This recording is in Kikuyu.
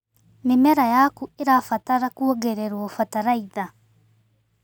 Mĩmera yaku ĩrabatara kuongererwo bataraitha.